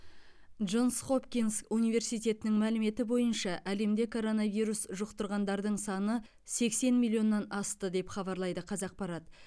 джонс хопкинс университетінің мәліметі бойынша әлемде коронавирус жұқтырғандардың саны сексен миллионнан асты деп хабарлайды қазақпарат